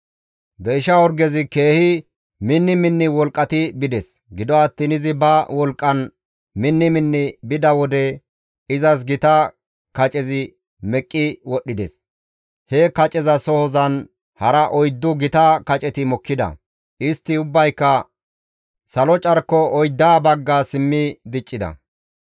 Deyshsha orgezi keehi minni minni wolqqati bides; gido attiin izi ba wolqqan minni minni bida wode izas gita kacezi meqqi wodhdhides; he kacezasohozan hara oyddu gita kaceti mokkida; istti ubbayka salo carko oyddata bagga simmi diccida.